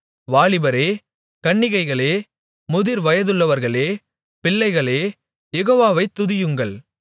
வாலிபரே கன்னிகைகளே முதிர் வயதுள்ளவர்களே பிள்ளைகளே யெகோவாவை துதியுங்கள்